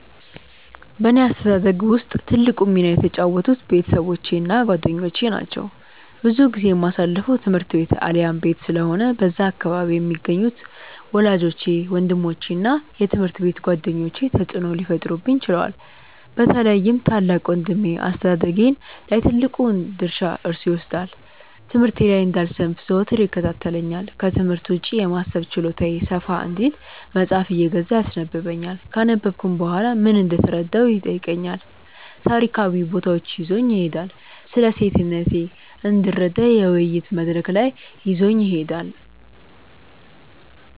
በእኔ አስተዳደግ ውስጥ ትልቁን ሚና የተጫወቱት ቤተሰቦቼ እና ጓደኞቼ ናቸው። ብዙ ጊዜዬን የማሳልፈው ትምህርት ቤት አሊያም ቤት ስለሆነ በዛ አካባቢ የሚገኙት ወላጆቼ፤ ወንድሞቼ እና የትምሀርት ቤት ጓደኞቼ ተጽእኖ ሊፈጥሩብኝ ችለዋል። በተለይም ታላቅ ወንድሜ አስተዳደጌ ላይ ትልቁን ድርሻ እርሱ ይወስዳል። ትምህርቴ ላይ እንዳልሰንፍ ዘወትር ይከታተለኛል፤ ክትምህርት ውጪ የማሰብ ችሎታዬ ሰፋ እንዲል መጽሃፍ እየገዛ ያስነበብኛል፤ ካነበብኩም በኋላ ምን እንደተረዳሁ ይጠይቀኛል፤ ታሪካዊ ቦታዎች ይዞኝ ይሄዳል፤ ስለሴትነቴ እንድረዳ የውይይት መድረክ ላይ ይዞኝ ይሄዳል።